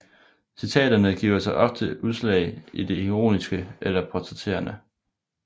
Citaterne giver sig ofte udslag i det ironiske eller portrætterende